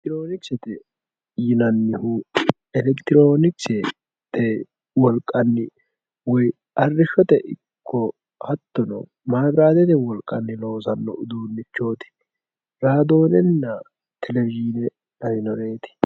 elektiroonikisete yinanihu elektiroonikisete wolqanni woyi arrishshote ikko maabiraatete loosanno uduunnichooti raadoonenna televizhiine lawinoreeti